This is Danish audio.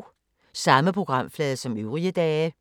Samme programflade som øvrige dage